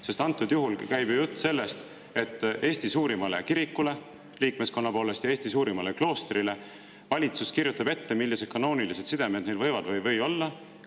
Jutt käib ju sellest, et liikmeskonna poolest Eesti suurimale kirikule ja Eesti suurimale kloostrile valitsus kirjutab ette, millised kanoonilised sidemed neil võivad olla ja millised ei või olla.